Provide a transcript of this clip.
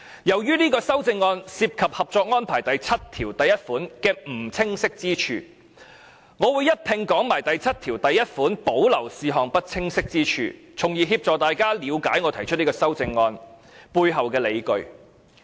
由於這項修正案涉及《合作安排》第七1條的不清晰之處，我會一併談論第七1條保留事項的不清晰之處，從而協助大家了解我提出這項修正案背後的理據。